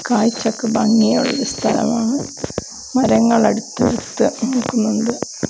കാഴ്ചക്ക് ഭംഗിയുള്ള ഒരു സ്ഥലമാണ് മരങ്ങൾ അടുത്തു അടുത്ത് നിൽക്കുന്നുണ്ട്.